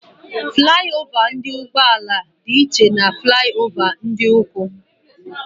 Fụlai ova ụgbọala dị iche n'etiti fụlai ova ndị ụkwụ.